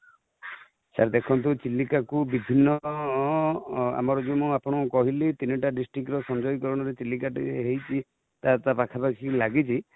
sir ଦେଖନ୍ତୁ ଚିଲିକା କୁ ବିଭିନ୍ନ, ଆମର ଯୋଉ ଆପଣ ଙ୍କୁ କହିଲି ତିନିଟା district ର ସଂଯୋଗୀକରଣ ରେ ଚିଲିକା ଟି ହେଇଛି ତା ପାଖପାଖି ଲାଗିଛି |